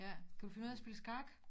Ja kan du finde ud af at spille skak